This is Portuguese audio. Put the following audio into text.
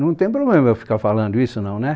Não tem problema eu ficar falando isso, não, né?